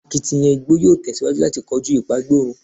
Akitiyan igbo yoo tẹsiwaju lati koju ipagborun